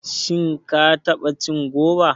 Shin ka taɓa cin goba?